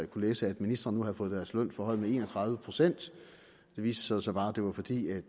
kunne læse at ministre nu havde fået deres løn forhøjet med en og tredive procent det viste sig så bare var fordi